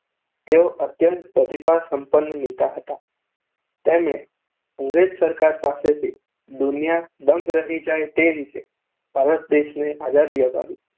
તેઓ અત્યંત પ્રતિભાસંપન્ન નેતા હતા. તેમણે અંગ્રેજ સરકાર પાસેથી દુનિયા દંગ રહી જાય તે રીતે ભારત દેશને આઝાદી અપાવી.